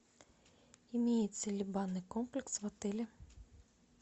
имеется ли банный комплекс в отеле